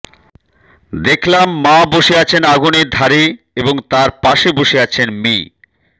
দেখলাম মা বসে আছেন আগুনের ধারে এবং তার পাশে বসে আছেন মি